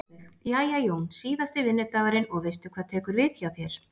Sólveig: Jæja Jón, síðasti vinnudagurinn og veistu hvað tekur við hjá þér?